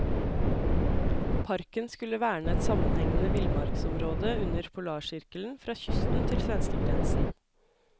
Parken skulle verne et sammenhengende villmarksområde under polarsirkelen fra kysten til svenskegrensen.